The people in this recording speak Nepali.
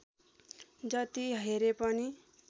जति हेरे पनि